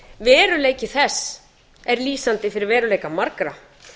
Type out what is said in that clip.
veruleiki þess er lýsandi fyrir veruleika margra